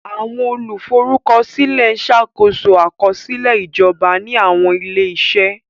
Àwọn olùforúkọsílẹ̀ ń ṣàkóso àkọsílẹ̀ ìjọba ní àwọn ilé-iṣẹ́.